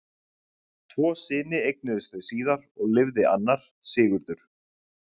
Tvo syni eignuðust þau síðar og lifði annar, Sigurður.